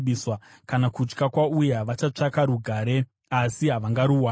Kana kutya kwauya, vachatsvaka rugare asi havangaruwani.